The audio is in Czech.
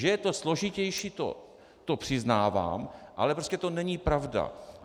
Že je to složitější, to přiznávám, ale prostě to není pravda.